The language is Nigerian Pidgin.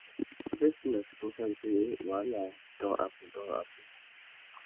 first tin na to confam sey wahala wey don hapun don hapun